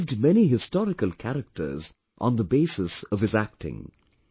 He revived many historical characters on the basis of his acting